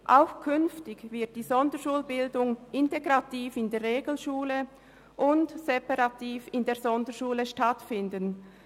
Auch künftig wird die Sonderschulbildung integrativ in der Regelschule und separativ in der Sonderschule stattfinden.